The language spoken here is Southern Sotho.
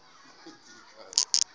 ha ho na ho ba